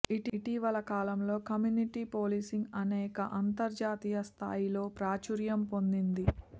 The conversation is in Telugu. ఇటీవల కాలంలో కమ్యూనిటీ పోలీసింగ్ అనేక అంతర్జాతీయ స్థాయిలో ప్రాచుర్యం పొందింది